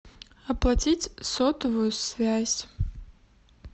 оплатить сотовую связь